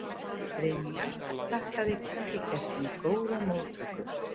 Brynja þakkaði kirkjugestum góðar móttökur